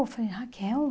Eu falei, Raquel?